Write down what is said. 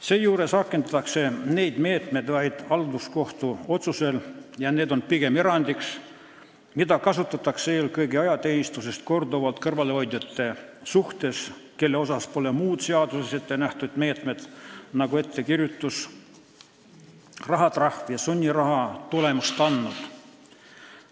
Seejuures rakendatakse neid meetmeid vaid halduskohtu otsusel ja need on pigem erandiks, mida kasutatakse eelkõige ajateenistusest korduvalt kõrvale hoidjate suhtes, kelle puhul pole muud seaduses ettenähtud meetmed, nagu ettekirjutus, rahatrahv ja sunniraha, tulemust andnud.